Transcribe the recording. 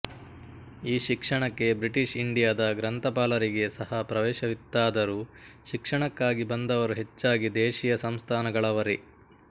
ಈ ಶಿಕ್ಷಣಕ್ಕೆ ಬ್ರಿಟಿಷ್ ಇಂಡಿಯಾದ ಗ್ರಂಥಪಾಲರಿಗೆ ಸಹ ಪ್ರವೇಶವಿತ್ತಾದರೂ ಶಿಕ್ಷಣಕ್ಕಾಗಿ ಬಂದವರು ಹೆಚ್ಚಾಗಿ ದೇಶೀಯ ಸಂಸ್ಥಾನಗಳವರೇ